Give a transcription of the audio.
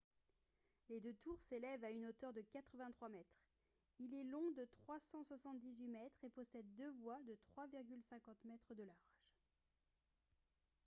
les deux tours s'élèvent à une hauteur de 83 mètres il est long de 378 mètres et possède deux voies de 3,50 m de large